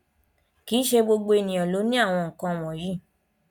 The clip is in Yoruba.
kì í ṣe gbogbo ènìyàn ló ní àwọn nkan wọnyí